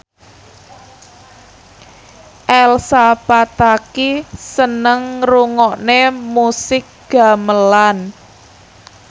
Elsa Pataky seneng ngrungokne musik gamelan